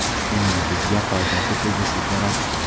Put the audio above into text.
Uning bizga foydasi tegishi kerak.